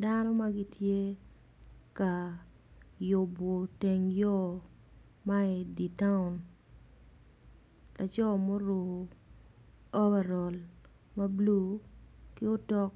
Dano magitye ka yubo teng yo ma iditown laco ma oruko overal mablue ki otok